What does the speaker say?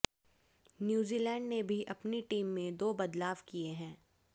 New Zealand ने भी अपनी टीम में दो बदलाव किए हैं